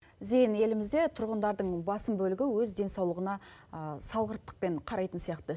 зейін елімізде тұрғындардың басым бөлігі өз денсаулығына салғырттықпен қарайтын сияқты